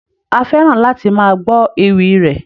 A fẹ́ràn láti máa gbọ́ ewì rẹ̀.